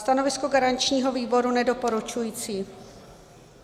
Stanovisko garančního výboru nedoporučující.